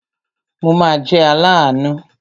Mo ma jẹ́ aláàánú.